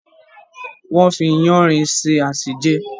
wọ́n fi “yáanrin” se àsèjẹ.